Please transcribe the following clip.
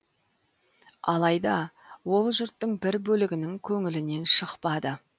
алайда ол жұрттың бір бөлігінің көңілінен шықпады